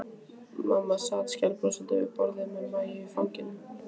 Mamma sat skælbrosandi við borðið með Maju í fanginu.